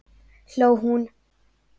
hló hún.